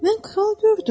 Mən kral gördüm.